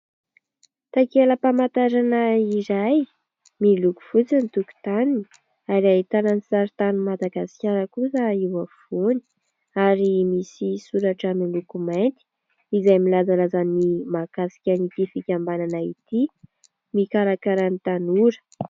Takelam-pamantarana iray miloko fotsy ny tokotaniny ary ahitana ny saritanin'i Madagasikara kosa eo afovoany ary misy soratra miloko mainty izay milazalaza ny mahakasika an'itỳ fikambanana itỳ, mikarakara ny tanora.